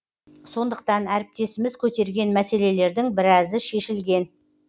сондықтан әріптесіміз көтерген мәселелердің біразы шешілген